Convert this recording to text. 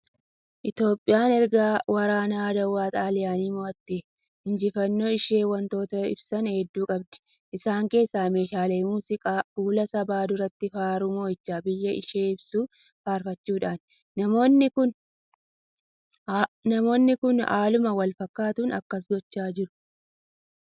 Itoophiyaan erga waraa Adawaa Xaaliyaanii moo'attee, injifannoo ishii waantota ibsan hedduu qabdi. Isaan keessaa meeshaalee muuziqaan fuula sabaa duratti faaruu moo'icha biyya ishii ibsu faarfachuudhaani. Namoonni kun haaluma walfakkaatuun akkas gochaa jiru.